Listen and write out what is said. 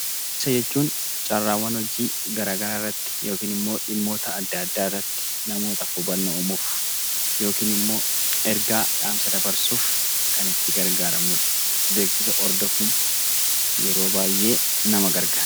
Beeksisa jechuun carraawwan hojii garaagaraa irratti yookiin namootaaf hubannoo uumuuf yookiin immoo ergaa dhaamsa dabarsuuf kan itti gargaaramnudha. Beeksisa hordofuun yeroo baay'ee nama gargaara.